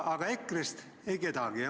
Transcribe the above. –, aga EKRE-st ei ole kedagi.